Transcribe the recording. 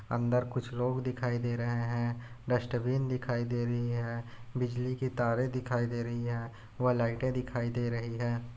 अन्दर कुछ लोग दिखाई दे रहे है डस्टबिन दिखाई दे रही है बिजली के तारे दिखाई दे रही है व लाइट दिखाई दे रही है।